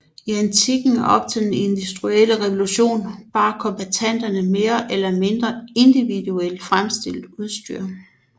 I antikken og op til den industrielle revolution bar kombattanterne mere eller mindre individuelt fremstillet udstyr